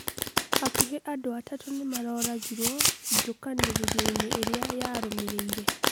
Hakuhĩ andũ atatũ nĩmaroragirwo njũkanĩrĩroinĩ ĩria yarũmĩrĩire